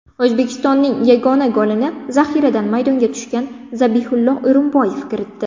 O‘zbekistonning yagona golini zaxiradan maydonga tushgan Zabihullo O‘rinboyev kiritdi.